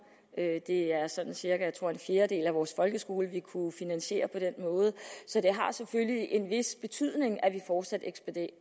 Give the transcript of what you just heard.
det er sådan cirka tror jeg en fjerdedel af vores folkeskole vi kunne finansiere på den måde så det har selvfølgelig en vis betydning at vi fortsat eksporterer